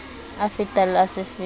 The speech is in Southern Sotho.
a fetang le a sefefo